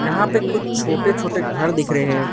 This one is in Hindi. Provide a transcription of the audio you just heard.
यहां पे कुछ छोटे छोटे घर दिख रहे हैं।